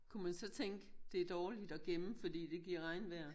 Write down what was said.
Kunne man så tænke det er dårligt at gemme fordi det giver regnvejr?